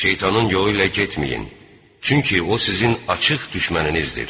Şeytanın yolu ilə getməyin, çünki o sizin açıq düşməninizdir.